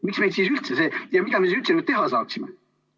Miks meil siis üldse see ja mida me üldse siis veel teha saaksime?